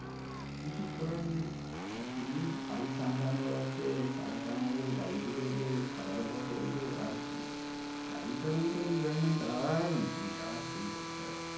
কিছু করার নেই। এখন এই বাড়ি সামলানোর আছে, টাকা কামাবো, বাড়িতে দেবো, খাওয়া দাওয়া করবো আর কি? আগেকার মতো enjoyment আর নেই, আর সেই কোথায়?